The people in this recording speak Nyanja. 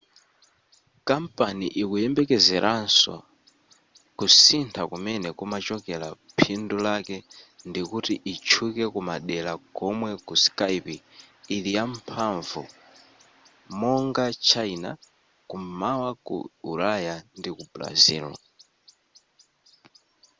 kampani ikuyembekezeranso kusintha kumene kumachokera phindu lake ndikuti itchuke kumadera komwe skype ili yamphamvu monga china kum'mawa ku ulaya ndi ku brazil